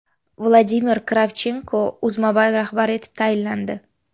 Vladimir Kravchenko UzMobile rahbari etib tayinlandi.